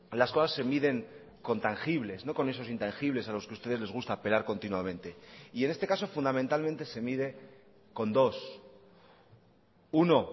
las cosas se miden con tangibles no con esos intangibles a los que ustedes les gusta apelar continuamente y en este caso fundamentalmente se mide con dos uno